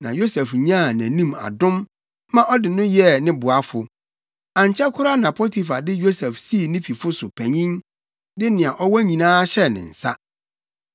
Yosef nyaa nʼanim adom ma ɔde no yɛɛ ne boafo. Ankyɛ koraa na Potifar de Yosef sii ne fifo so panyin, de nea ɔwɔ nyinaa hyɛɛ ne nsa.